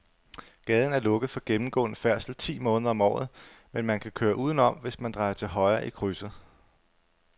Gaden er lukket for gennemgående færdsel ti måneder om året, men man kan køre udenom, hvis man drejer til højre i krydset.